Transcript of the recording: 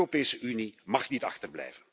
De Europese Unie mag niet achterblijven.